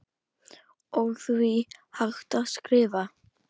og því hægt að skrifa